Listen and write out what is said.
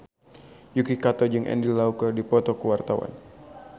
Yuki Kato jeung Andy Lau keur dipoto ku wartawan